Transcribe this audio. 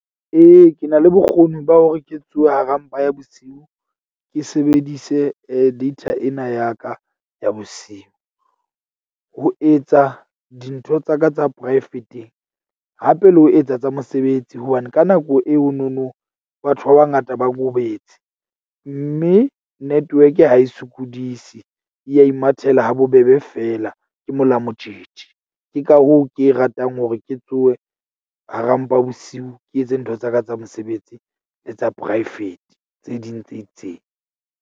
Ee, ke na le bokgoni ba hore ke tsohe ha ra mpa ya bosiu. Ke sebedise data ena ya ka ya bosiu. Ho etsa dintho tsa ka tsa poraefeteng hape le ho etsa tsa mosebetsi. Hobane ka nako eo no no batho ba bangata ba robetse. Mme network-e ha e sokodise. E a imathela ha bobebe feela. Ke mola motjetje. Ke ka hoo ke e ratang hore ke tsohe hara mpa bosiu, ke etse ntho tsa ka tsa mosebetsi le tsa poraefete tse ding tse itseng.